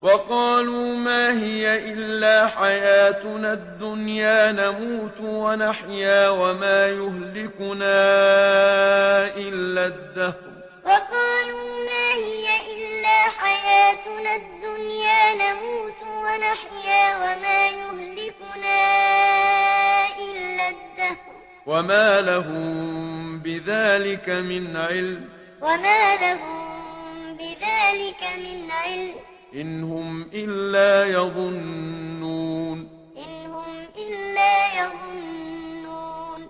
وَقَالُوا مَا هِيَ إِلَّا حَيَاتُنَا الدُّنْيَا نَمُوتُ وَنَحْيَا وَمَا يُهْلِكُنَا إِلَّا الدَّهْرُ ۚ وَمَا لَهُم بِذَٰلِكَ مِنْ عِلْمٍ ۖ إِنْ هُمْ إِلَّا يَظُنُّونَ وَقَالُوا مَا هِيَ إِلَّا حَيَاتُنَا الدُّنْيَا نَمُوتُ وَنَحْيَا وَمَا يُهْلِكُنَا إِلَّا الدَّهْرُ ۚ وَمَا لَهُم بِذَٰلِكَ مِنْ عِلْمٍ ۖ إِنْ هُمْ إِلَّا يَظُنُّونَ